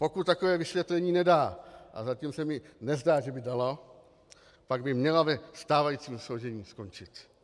Pokud takové vysvětlení nedá - a zatím se mi nezdá, že by dala - pak by měla ve stávajícím složení skončit.